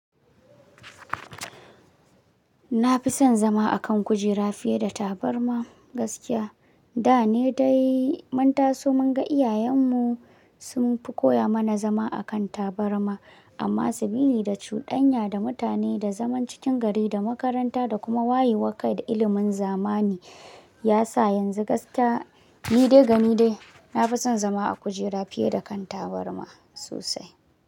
Na fi son zama a kan kujera fiye da tabarma gaskiya. Da ne dai manta so mun ga iyayenmu sun fi koya mana zama a kan tabarma. Amma sibilida cuɗanya da mutane da zaman cikin gari da makaranta da kuma wayewan ka da ilimin zamani ya sa yanzu gakiya ni dai ga ni dai na fi son zama a kujera fiye da kan tabarma sosai.